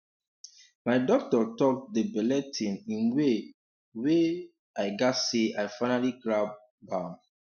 my doctor talk the belle thing in way um wey um i gatz say i finally grab um am